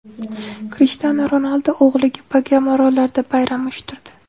Krishtianu Ronaldu o‘g‘liga Bagama orollarida bayram uyushtirdi .